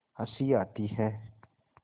हँसी आती है